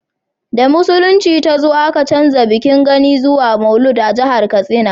da musulunci ta zo a ka canja bikin gani zuwa maulud a jahar katsina